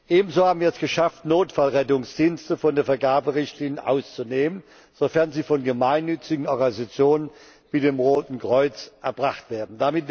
Ebenso haben wir es geschafft, Notfallrettungsdienste von den Vergaberichtlinien auszunehmen, sofern sie von gemeinnützigen Organisationen wie dem Roten Kreuz erbracht werden.